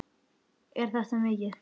Er þetta mikið?